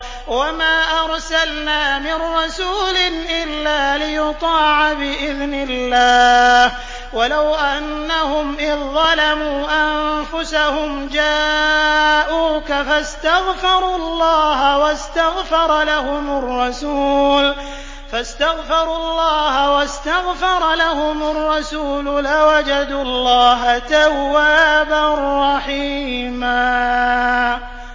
وَمَا أَرْسَلْنَا مِن رَّسُولٍ إِلَّا لِيُطَاعَ بِإِذْنِ اللَّهِ ۚ وَلَوْ أَنَّهُمْ إِذ ظَّلَمُوا أَنفُسَهُمْ جَاءُوكَ فَاسْتَغْفَرُوا اللَّهَ وَاسْتَغْفَرَ لَهُمُ الرَّسُولُ لَوَجَدُوا اللَّهَ تَوَّابًا رَّحِيمًا